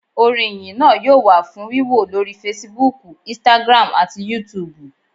Orin Ìyìn náa yóò wà fún wíwò lórí Fasibúùkù, "Instagram" àti yúutùbù